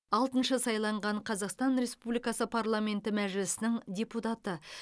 алтыншы сайланған қазақстан республикасы парламенті мәжілісінің депутаты